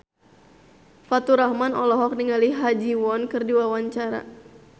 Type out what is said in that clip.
Faturrahman olohok ningali Ha Ji Won keur diwawancara